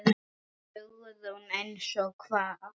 Hugrún: Eins og hvað?